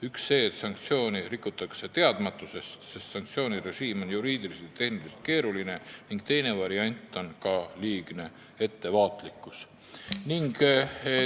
Üks on see, et sanktsioone rikutakse teadmatusest, sest sanktsioonirežiim on juriidiliselt keeruline, ning teine variant on liigne ettevaatlikkus.